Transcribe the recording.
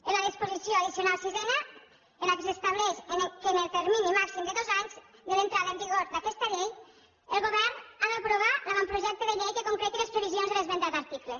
en la disposició addicional sisena s’estableix que en el termini màxim de dos anys de l’entrada en vigor d’aquesta llei el govern ha d’aprovar l’avantprojecte de llei que concreti les previsions de l’esmentat article